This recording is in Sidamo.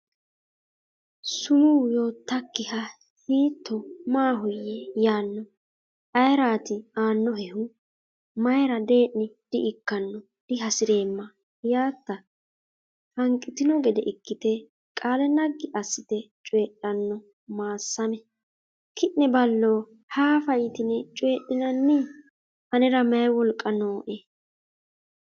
sumuu yoottakkiha hiitto maahoyye yaanno? ayeraati aannohehu? Mayra dee’ni di”ikkanno dihasi’reemma diyaatta? Hanqitino gede ikkite qaale naggi assite coydhanno Maassame Ki’ne ballo haafa yitine coydhinanni anera mayi wolqa nooe?